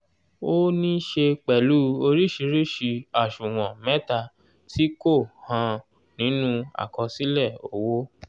ó níí ṣe pẹ̀lú oríṣìíríṣìí àṣùwọ̀n mẹta tí kò hàn nínú àkọsílẹ̀ owó.